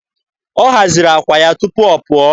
Ọ haziri àkwà ya tupu ọ pụọ.